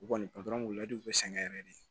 U kɔni bɛ sɛgɛn yɛrɛ de